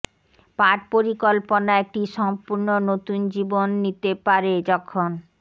পাঠ পরিকল্পনা একটি সম্পূর্ণ নতুন জীবন নিতে পারে যখন